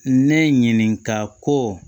Ne ɲinika kɔ